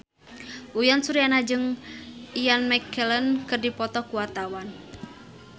Uyan Suryana jeung Ian McKellen keur dipoto ku wartawan